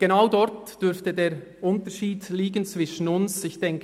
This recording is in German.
Genau darin dürfte der Unterschied zwischen uns liegen: